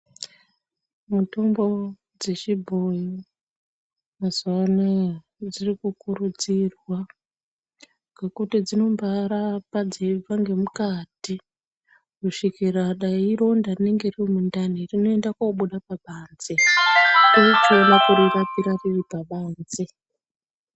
Mitombo dzechibhoyi mazuva anaya dzirikukurudzirwa ngekuti dzinobarapa dzeibva ngemukati kusvikira dai ironda ririmukati rinoenda kunobuda pabanze vochiona kurirapira riripabanze .